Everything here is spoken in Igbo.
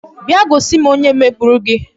Bịa gosi m onye megburu gị